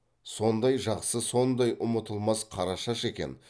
сондай жақсы сондай ұмытылмас қарашаш екен